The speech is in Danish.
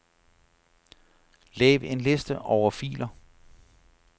Lav en liste over filer.